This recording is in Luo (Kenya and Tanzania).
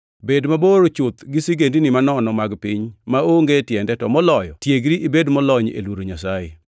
Bed mabor chuth gi sigendini manono mag piny maonge tiende to moloyo tiegri ibed molony e luoro Nyasaye.